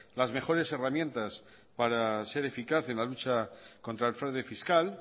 las mejores herramientas para ser eficaz en la lucha contra el fraude fiscal